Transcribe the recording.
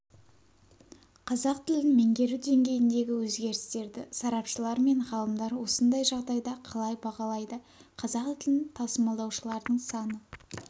қазақ тілін меңгеру деңгейіндегі өзгерістерді сарапшылар мен ғалымдар осындай жағдайда қалай бағалайды қазақ тілін тасымалдаушылардың саны